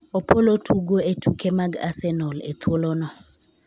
Opollo tugo e tuke mag Arsenal e thuolono,